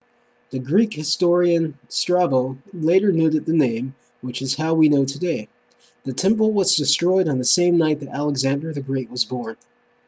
the greek historian strabo later noted the name which is how we know today the temple was destroyed on the same night that alexander the great was born